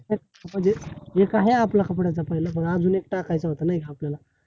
नाही म्हणजे एक आहे आपला कपड्याचा पहिला, पण अजून एक टाकायचा होतं नाय का? आपल्याला